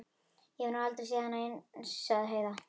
Ég hef nú aldrei séð annað eins, sagði Heiða.